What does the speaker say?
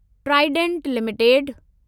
Trident limited